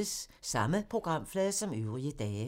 Samme programflade som øvrige dage